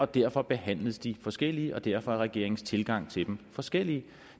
derfor behandles de forskelligt og derfor er regeringens tilgange til dem forskellige